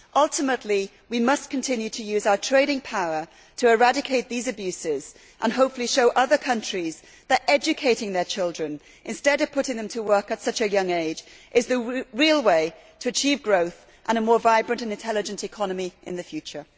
Ultimately, we must continue to use our trading power to eradicate these abuses and hopefully show other countries that educating their children, instead of putting them to work at such a young age, is the real way to achieve growth and a more vibrant and intelligent economy in the future.